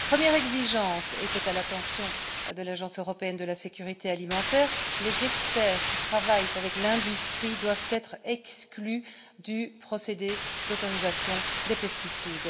Notre première exigence est à l'attention de l'Agence européenne de la sécurité alimentaire les experts qui travaillent avec l'industrie doivent être exclus du procédé d'autorisation des pesticides.